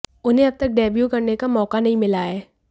उन्हें अब तक डेब्यू करने का मौका नहीं मिला है